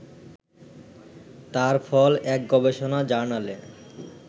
তার ফল এক গবেষণা জার্নালে